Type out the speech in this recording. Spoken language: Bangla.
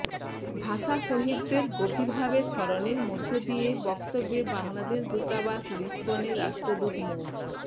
ভাষা শহীদদের গভীরভাবে স্মরণের মধ্য দিয়ে বক্তব্যে বাংলাদেশ দূতাবাস লিসবনের রাষ্ট্রদূত মো